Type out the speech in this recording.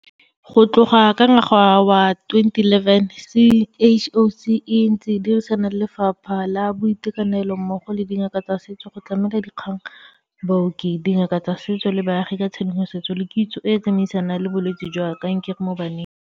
Go tloga ka ngwaga wa 2011, CHOC e ntse e dirisana le Lefapha la Boitekanelo mmogo le dingaka tsa setso go tlamela dingaka, baoki, dingaka tsa setso le baagi ka tshedimosetso le kitso e e tsamaisanang le bolwetse jwa kankere mo baneng.